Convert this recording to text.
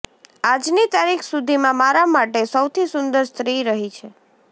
આજની તારીખ સુધીમાં મારા માટે સૌથી સુંદર સ્ત્રી રહિ છે